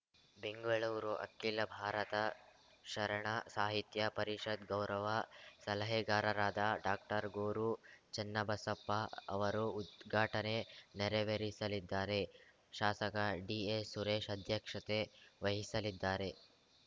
ಬೆಂಗಳೂರು ಅಖಿಲ ಭಾರತ ಶರಣ ಸಾಹಿತ್ಯ ಪರಿಷತ್‌ ಗೌರವ ಸಲಹೆಗಾರರಾದ ಡಾಕ್ಟರ್ ಗೊರು ಚನ್ನಬಸಪ್ಪ ಅವರು ಉದ್ಘಾಟನೆ ನೆರವೇರಿಸಲಿದ್ದಾರೆ ಶಾಸಕ ಡಿಎಸ್‌ ಸುರೇಶ್‌ ಅಧ್ಯಕ್ಷತೆ ವಹಿಸಲಿದ್ದಾರೆ